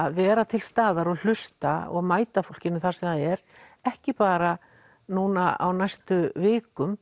að vera til staðar og hlusta mæta fólkinu þar sem það er ekki bara núna á næstu vikum